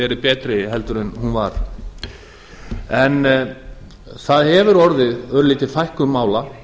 verið betri heldur en hún var það hefur orðið örlítil fækkun mála